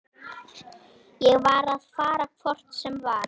Ég var að fara hvort sem var.